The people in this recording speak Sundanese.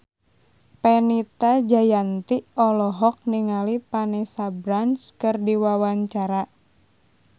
Fenita Jayanti olohok ningali Vanessa Branch keur diwawancara